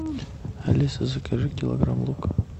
алиса закажи килограмм лука